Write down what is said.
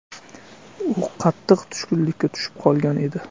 U qattiq tushkunlikka tushib qolgan edi.